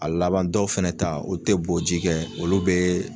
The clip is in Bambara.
A laban dɔw fɛnɛ ta o tɛ bɔ ji kɛ olu bɛɛɛ.